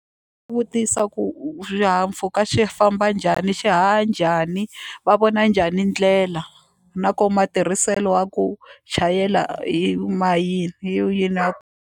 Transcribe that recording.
Vutisa ku xihahampfhuka xi famba njhani xi haha njhani va vona njhani ndlela na ku matirhiselo wa ku chayela hi .